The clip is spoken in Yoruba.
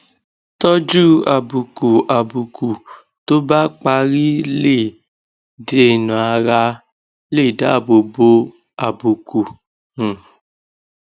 tójú àbùkù àbùkù tó bá parí lè dènàárà lè dáàbò bo àbùkù um